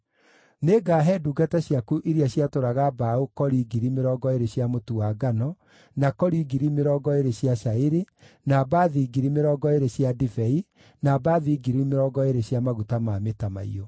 Nĩngaahe ndungata ciaku iria ciatũũraga mbaũ kori 20,000 cia mũtu wa ngano, na kori 20,000 cia cairi, na mbathi 20,000 cia ndibei, na mbathi 20,000 cia maguta ma mĩtamaiyũ.”